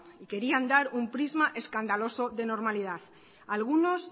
y querían dar un prisma escandaloso de normalidad algunos